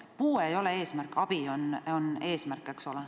Puue ei ole eesmärk, vaid abi on eesmärk.